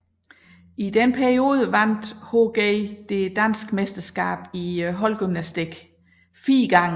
I denne periode vandt HG det danske mesterskab i holdgymnastik fire gange